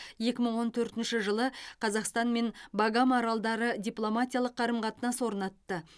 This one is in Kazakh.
екі мың он төртінші жылы қазақстан мен багам аралдары дипломатиялық қарым қатынас орнатты